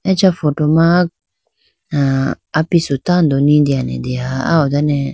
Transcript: acha photo ma ah apisu tando litene deha ah ho done.